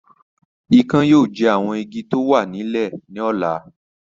Ikán yóò jẹ àwọn Igi tí o wà ní ilẹ̀ ní ọ̀la